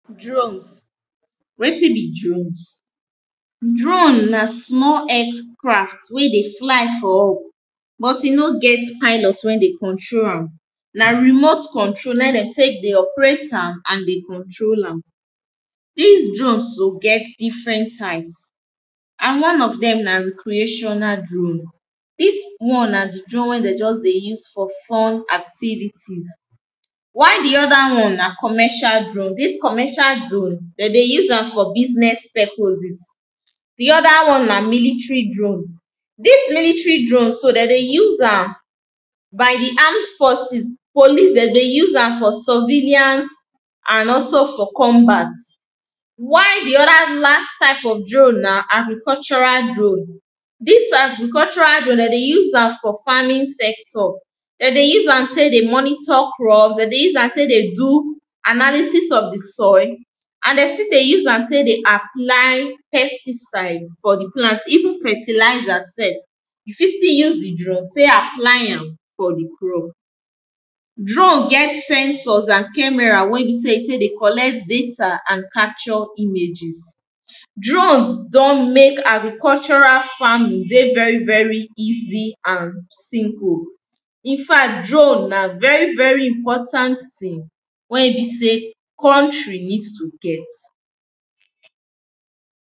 Drones wetin be drowns. Drowns na small aircraft wey dey fly for up but e no get pilot wey dey control am. Na remote control na dem take dey operate am and dey control am Dis drone get different size and one of dem na recreational drone Dis one na di drone wey dem just dey use for fun activities why di other one na commercial drone. Dis commercial drone, dem dey use am for business purposes di other one na military drone. Dis military drone so dem dey use am by di armed forcos, police dem dey use am for survellance and also for combat. Why di other last type of drone na agricultural drone Dis agricutural drone, dem dey use am for farming sector dem dey use am take dey monitor crop, dem dey use am take dey do analysis of di soil and dem still dey use am take dey apply pesticides for di plant even ferliizer self you fit still use di drone take apply am for di crop Drone get sensors and cameras wey be sey e take dey collect data and capture images Drones don make agricultural farming dey very very easy and simple In fact drone na very very important thing wey be sey country need to get